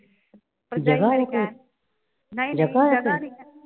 ਨਈਂ ਨਈਂ ਜਗ੍ਹਾ ਨਈਂ ਹੈ।